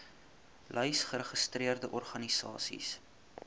lys geregistreerde organisasies